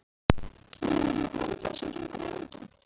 Viljiði heyra brandara sem gengur í London?